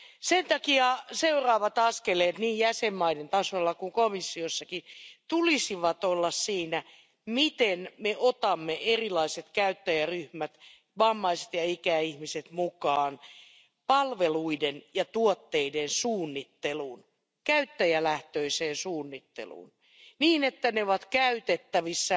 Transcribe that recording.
Sen takia seuraavat askeleet niin jäsenmaiden tasolla kuin komissiossakin tulisi olla siinä, miten me otamme erilaiset käyttäjäryhmät, vammaiset ja ikäihmiset, mukaan palveluiden ja tuotteiden suunnitteluun, käyttäjälähtöiseen suunnitteluun niin, että ne ovat käytettävissä